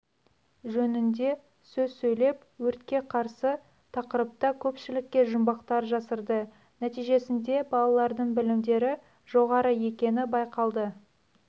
жөнінде сөз сөйлеп өртке қарсы тақырыпта көпшілікке жұмбақтар жасырды нәтижесінде балалардың білімдері жоғары екені байқалды